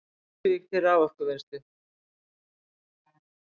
Krýsuvík til raforkuvinnslu.